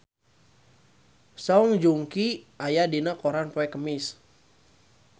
Song Joong Ki aya dina koran poe Kemis